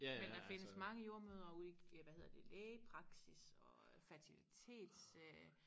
Men der findes mange jordemødre ude i hvad hedder det lægepraksis og øh fertilitets øh